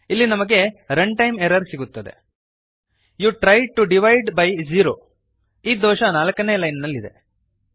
ಇಲ್ಲಿ ನಮಗೆ runtime error ಸಿಗುತ್ತದೆ you tried to divide by zero ಈ ದೋಷ 4ನೇ ಲೈನ್ ನಲ್ಲಿದೆ